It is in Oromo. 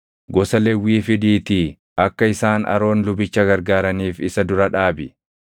“Gosa Lewwii fidiitii akka isaan Aroon lubicha gargaaraniif isa dura dhaabi.